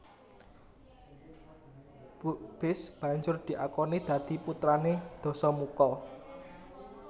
Bukbis banjur diakoni dadi putrané Dasamuka